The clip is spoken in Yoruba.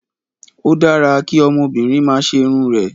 O dára kí obìnrin máa ṣerun rẹ̀.